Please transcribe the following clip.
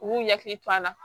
U b'u hakili to a la